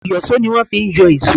Ìyọ̀ṣó ni wón fi ń yọ ìṣọ́.